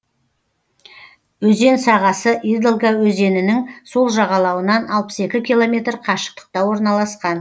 өзен сағасы идолга өзенінің сол жағалауынан алпыс екі километр қашықтықта орналасқан